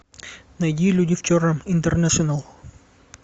найди люди в черном интернэшнл